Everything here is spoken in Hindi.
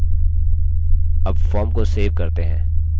अब form को सेव करते हैं